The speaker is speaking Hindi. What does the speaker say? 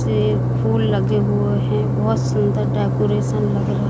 ये फूल लगे हुए हैं बहोत सुंदर डेकोरेशन लग रहा--